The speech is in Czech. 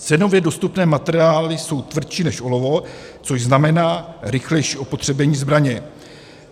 Cenově dostupné materiály jsou tvrdší než olovo, což znamená rychlejší opotřebení zbraně.